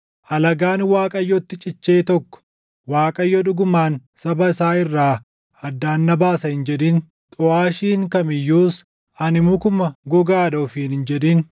Alagaan Waaqayyotti cichee tokko, “ Waaqayyo dhugumaan // saba isaa irraa addaan na baasa” hin jedhin. Xuʼaashiin kam iyyuus, “Ani mukuma gogaadha” ofiin hin jedhin.